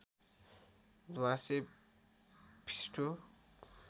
ध्वाँसे फिस्टो